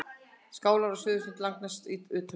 Skálar eru á suðurströnd Langaness utarlega.